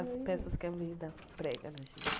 As peças que prega na gente.